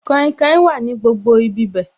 Kainkain wà ní gbogbo ibi bẹ̀